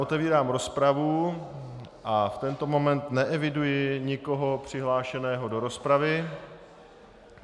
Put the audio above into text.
Otevírám rozpravu a v tento moment neeviduji nikoho přihlášeného do rozpravy.